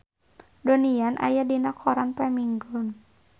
Donnie Yan aya dina koran poe Minggon